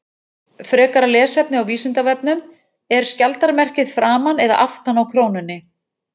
Frekara lesefni á Vísindavefnum: Er skjaldarmerkið framan eða aftan á krónunni?